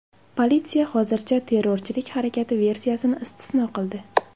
Politsiya hozircha terrorchilik harakati versiyasini istisno qildi.